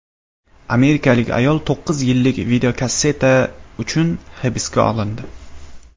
Amerikalik ayol to‘qqiz yillik videokasseta uchun hibsga olindi.